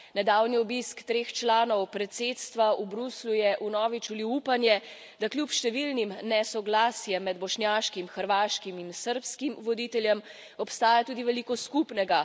Nedavni obisk treh članov predsedstva v Bruslju je vnovič vlil upanje, da kljub številnim nesoglasjem med bošnjaškim, hrvaškim in srbskim voditeljem, obstaja tudi veliko skupnega.